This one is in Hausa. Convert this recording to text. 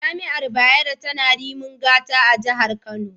Jami’ar Bayero tana Rimin Gata a Jihar Kano.